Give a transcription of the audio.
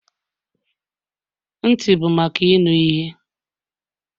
Ntị bụ maka ịnụ ihe.